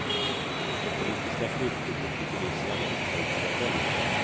Det politiska krypskyttet bedrivs i alla upptänkliga former.